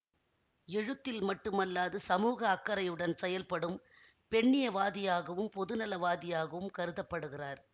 எழுத்தில் மட்டுமல்லாது சமூக அக்கறையுடன் செயல்படும் பெண்ணியவாதியாகவும் பொதுநலவாதியாகவும் கருத படுகிறார்